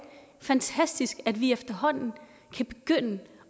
fantastisk at vi efterhånden i kan begynde